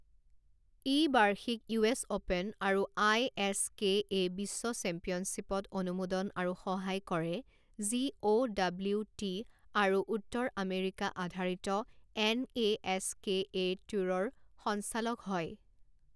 ই বাৰ্ষিক U S open আৰু I S K A বিশ্ব চেম্পিয়নশ্বিপত অনুমোদন আৰু সহায় কৰে যি অ' ডব্লিউটি আৰু উত্তৰ আমেৰিকা আধাৰিত N A S K A ট্যুৰৰ সঞ্চালক হয়।